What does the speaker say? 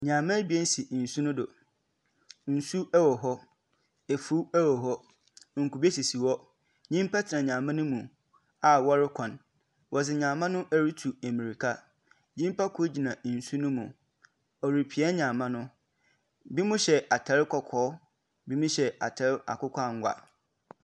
Nhɛmma ebien si nsu no do. Nsu wɔ hɔ. Afuw wɔ hɔ. Nkube sisi hɔ. Nyimpa tena nhɛma no mu a wɔrekɔ. Wɔde nhɛmma no rotu mmirka. Nyimpa kor gyina nsu no mu. Ɔrepia nhɛmma no. ebinom hyɛ atar kɔkɔɔ, ebinom hyɛ atar akokɔ angua.